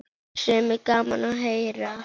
Sem er gaman að heyra.